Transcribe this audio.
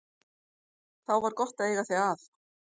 Þá var gott að eiga þig að.